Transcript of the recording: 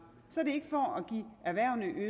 er